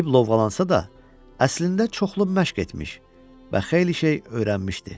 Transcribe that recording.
deyib lovğalansa da, əslində çoxlu məşq etmiş və xeyli şey öyrənmişdi.